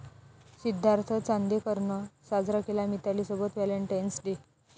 सिद्धार्थ चांदेकरनं साजरा केला मितालीसोबत व्हॅलेंटाइन्स डे!